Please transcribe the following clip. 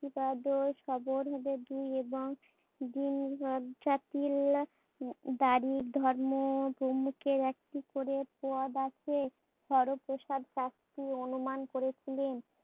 Audio স্পষ্ট নয়।